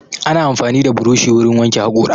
Ana amfani da buroshi wurin wanke haƙora